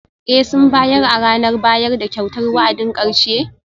Ee, sun bayar a ranar bayar da kyautar wa'adin karshe?